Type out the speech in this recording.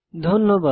ধন্যবাদ